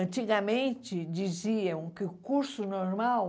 Antigamente, diziam que o curso normal